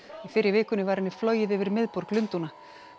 fyrr í vikunni var henni flogið yfir miðborg Lundúna